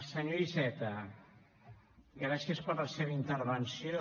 senyor iceta gràcies per la seva intervenció